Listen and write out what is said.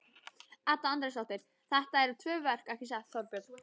Edda Andrésdóttir: Þetta eru tvö verk ekki satt Þorbjörn?